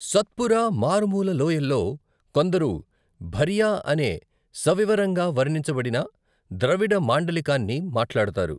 సత్పురా మారుమూల లోయల్లో కొందరు భరియా అనే సవివరంగా వర్ణించబడని ద్రవిడ మాండలికాన్ని మాట్లాడతారు.